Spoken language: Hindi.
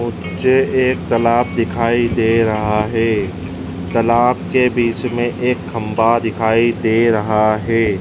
मुझे एक तलाब दिखाई दे रहा है। तलाब के बीच में एक खंभा दिखाई दे रहा है।